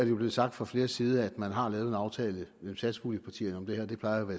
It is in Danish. jo blevet sagt fra flere sider at man har lavet en aftale mellem satspuljepartierne om det her og det plejer jo at